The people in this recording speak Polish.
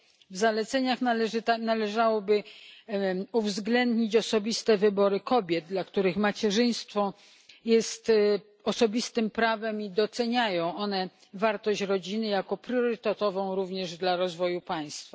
W zaleceniach należałoby uwzględnić osobiste wybory kobiet, dla których macierzyństwo jest osobistym prawem, oraz to, że doceniają one wartość rodziny jako priorytetową również dla rozwoju państwa.